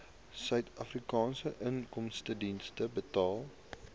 suidafrikaanse inkomstediens betaal